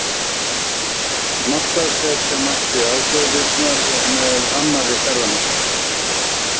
Markaðssetja mætti aðgerðirnar með annarri ferðamennsku.